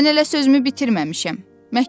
Mən elə sözümü bitirməmişəm.